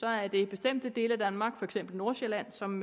er det bestemte dele af danmark for eksempel nordsjælland som